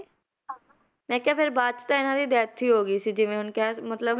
ਮੈਂ ਕਿਹਾ ਫਿਰ ਬਾਅਦ 'ਚ ਤਾਂ ਇਹਨਾਂ ਦੀ death ਹੀ ਹੋ ਗਈ ਸੀ ਜਿਵੇਂ ਹੁਣ ਕਹਿ ਮਤਲਬ